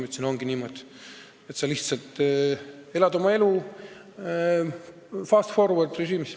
Ma vastan, et ongi niimoodi, sa lihtsalt elad oma elu fast-forward-režiimis.